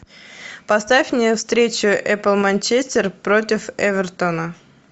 поставь мне встречу апл манчестер против эвертона